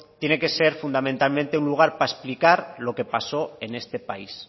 tiene que ser fundamentalmente un lugar para explicar lo que pasó en este país